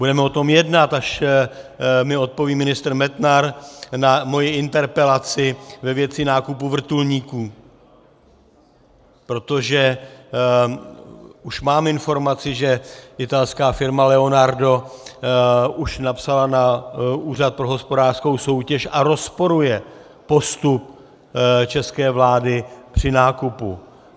Budeme o tom jednat, až mi odpoví ministr Metnar na moji interpelaci ve věci nákupu vrtulníků, protože už mám informaci, že italská firma Leonardo už napsala na Úřad pro hospodářskou soutěž a rozporuje postup české vlády při nákupu.